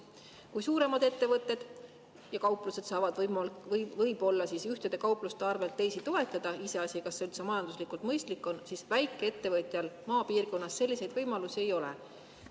Kui suuremad ettevõtted ja kauplused saavad võib-olla ühtede kaupluste arvel teisi toetada, iseasi, kas see majanduslikult mõistlik on, siis väikeettevõtjal maapiirkonnas selliseid võimalusi ei ole.